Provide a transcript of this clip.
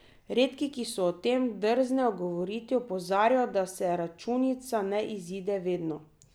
Redki, ki si o tem drznejo govoriti, opozarjajo, da se računica ne izide vedno.